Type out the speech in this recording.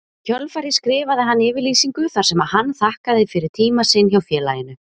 Í kjölfarið skrifaði hann yfirlýsingu þar sem hann þakkaði fyrir tíma sinn hjá félaginu.